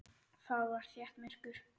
Þar var þétt myrkur.